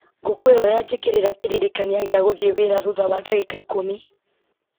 ngũkwĩhoya njĩkĩrĩra kĩririkania gĩa gũthiĩ wĩra thutha wa ndagĩka ikũmi